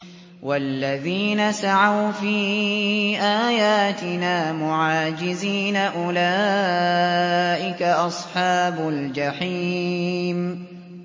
وَالَّذِينَ سَعَوْا فِي آيَاتِنَا مُعَاجِزِينَ أُولَٰئِكَ أَصْحَابُ الْجَحِيمِ